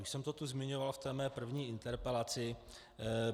Už jsem to tu zmiňoval v té své první interpelaci.